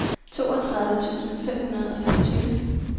toogtredive tusind fem hundrede og femogtyve